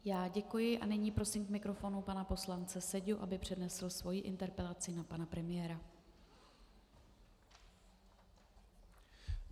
Já děkuji a nyní prosím k mikrofonu pana poslance Seďu, aby přednesl svoji interpelaci na pana premiéra.